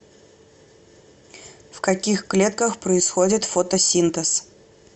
в каких клетках происходит фотосинтез